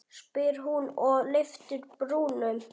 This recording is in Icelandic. spyr hún og lyftir brúnum.